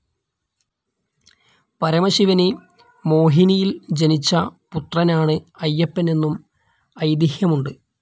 പരമശിവന് മോഹിനിയിൽ ജനിച്ച പുത്രനാണ് അയ്യപ്പൻ എന്നും ഐതിഹ്യമുണ്ട്.